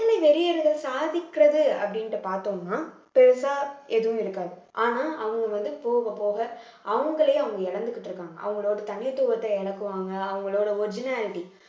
வேலை வெறியர்கள் சாதிக்கிறது அப்படின்ட்டு பார்த்தோம்னா பெருசா எதுவும் இருக்காது ஆனா அவங்க வந்து போகப் போக அவங்களே அவங்கள இழந்துகிட்டு இருக்காங்க அவங்களோட தனித்துவத்தை இழக்குவாங்க அவங்களோட originality